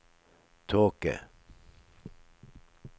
tåke